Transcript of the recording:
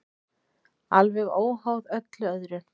Alveg óháð öllu öðru.